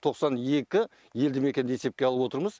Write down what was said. тоқсан екі елді мекенді есепке алып отырмыз